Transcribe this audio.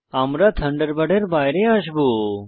আমরা থান্ডারবার্ডের বাইরে আসবো